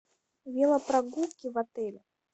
велопрогулки в отеле